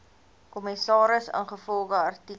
kommissaris ingevolge artikel